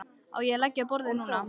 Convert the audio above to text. Á ég að leggja á borðið núna?